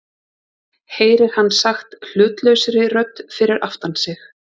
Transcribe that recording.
heyrir hann sagt hlutlausri rödd fyrir aftan sig.